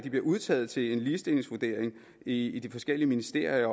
udtaget til en ligestillingsvurdering i i de forskellige ministerier